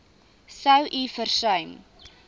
sou u versuim